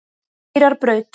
Hvaleyrarbraut